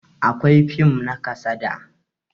Akwai fim na kasada